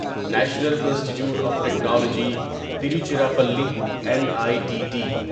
national institute of technology Tiruchirappalli N I T T